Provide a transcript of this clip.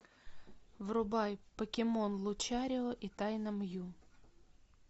врубай покемон лучарио и тайна мью